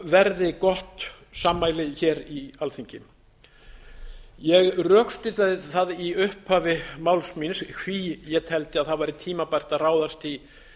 verði gott sammæli hér í alþingi ég rökstuddi það í upphafi máls míns hví ég teldi að það væri tímabært að ráðast í